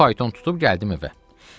Bir fayton tutub gəldim evə.